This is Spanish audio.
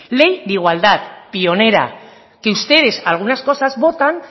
ley de igualdad pionera que ustedes algunas cosas votan